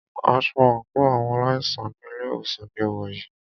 Aṣọ àńkò àwọn aláìsàn ní ilé ìwòsàn ní o wọ̀ yìí.